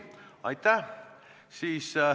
Aitäh!